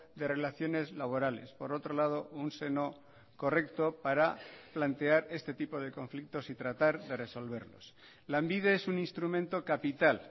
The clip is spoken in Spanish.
de relaciones laborales por otro lado un seno correcto para plantear este tipo de conflictos y tratar de resolverlos lanbide es un instrumento capital